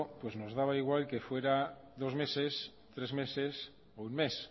nos daba igual que fuera dos meses tres meses o un mes